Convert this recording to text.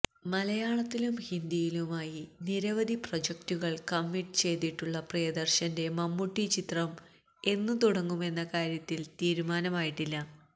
മലയാളത്തിലും ഹിന്ദിയിലുമായി നിരവധി പ്രൊജക്റ്റുകള് കമ്മിറ്റ് ചെയ്തിട്ടുള്ള പ്രിയദര്ശന്റെ മമ്മൂട്ടി ചിത്രം എന്നു തുടങ്ങുമെന്ന കാര്യത്തില് തീരുമാനമായിട്ടില്ല